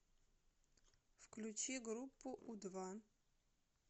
включи группу у два